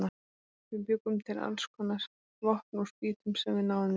Við bjuggum til alls konar vopn úr spýtum sem við náðum í.